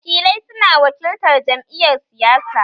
Wakilai su na wakiltar jam'iyar siyasa